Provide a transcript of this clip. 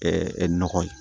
nɔgɔ ye